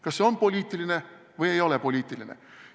Kas see on poliitiline või ei ole poliitiline?